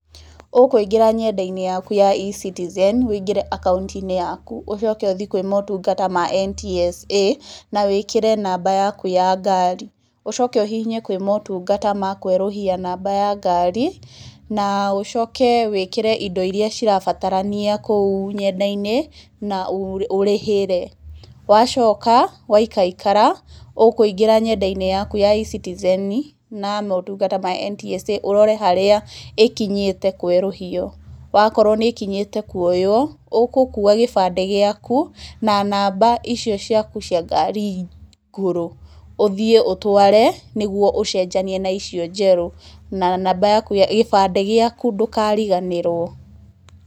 Ũkũingĩra ng'enda-inĩ yaku ya eCitizen, ũingĩre akaũnti-inĩ yaku. Ũcoke ũthiĩ kwĩ motungata ma NTSA, na wĩkĩre namba yaku ya ngari. Ũcoke ũhihinye kwĩ motungata ma kwerũhia namba ya ngari, na ũcoke wĩkĩre indo iria cirabatarania kũu ng'enda-inĩ, na ũrĩhĩre. Wacoka waikaikara, ũkũingĩra ng'enda-inĩ yaku ya eCitizen na motungata ma NTSA, ũrore harĩa ĩkinyĩte kwerũhio. Akorwo nĩ ĩkinyĩte kuoywo, ũgũkua gĩbandĩ gĩaku, na namba icio ciaku cia ngari ngũrũ, ũthiĩ ũtware, nĩguo ũcenjanie na icio njeru. Na namba yaku, gĩbandĩ gĩaku ndũkariganĩrwo.